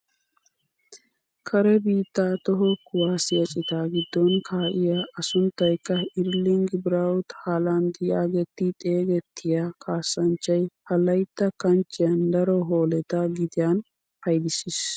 Kare biittaa toho kuwaasiyaa citaa giddon kaa'iyaa a sunttayikka erling brawut haaland yaagetti xeegettiyaa kaasanchchay ha laytta kanchchiyaan daro hooletta gitiyaan paydissiis.